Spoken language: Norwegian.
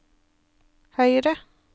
høyre